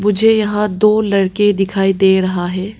मुझे यहां दो लड़के दिखाई दे रहा है।